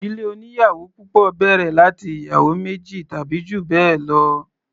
Ìdílé oníyàwò púpọ̀ bẹ̀rẹ̀ láti ìyàwó méjì tàbí jù bẹ́ẹ̀ lọ.